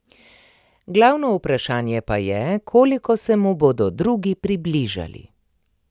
Glavno vprašanje pa je, koliko se mu bodo drugi približali.